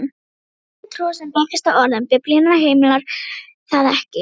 Kristin trú, sem byggist á orðum Biblíunnar, heimilar það ekki.